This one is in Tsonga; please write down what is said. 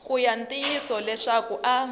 ki ya ntiyiso leswaku a